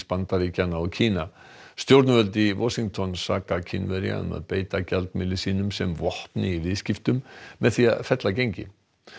Bandaríkjanna og Kína stjórnvöld í Washington saka Kínverja um að beita gjaldmiðli sínum sem vopni í viðskiptum með því að fella gengið